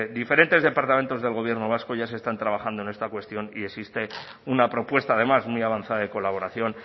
diferentes departamentos del gobierno vasco ya se están trabajando en esta cuestión y existe una propuesta además muy avanza de colaboración